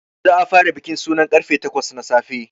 Za a fara bikin suna karfe takwas na safe.